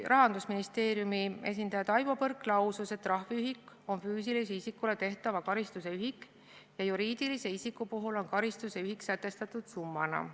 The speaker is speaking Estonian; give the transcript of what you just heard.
Rahandusministeeriumi esindaja Taivo Põrk lausus, et trahviühik on füüsilisele isikule määratava karistuse ühik ja juriidilise isiku puhul on karistuse ühik sätestatud summana.